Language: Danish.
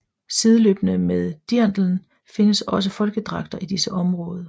Sideløbende med dirndlen findes også folkedragter i disse områder